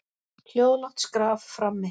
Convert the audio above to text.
Hljóðlátt skraf frammi.